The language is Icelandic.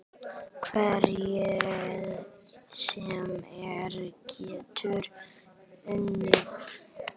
Hver sem er getur unnið.